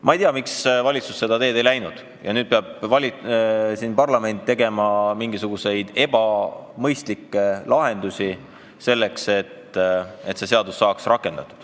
Ma ei tea, miks valitsus seda teed ei läinud ja nüüd peab parlament kasutama mingisuguseid ebamõistlikke lahendusi, selleks et seadus saaks rakendatud.